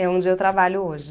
É onde eu trabalho hoje.